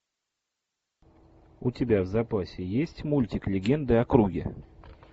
у тебя в запасе есть мультик легенды о круге